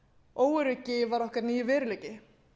óöryggi var okkur nýr veruleiki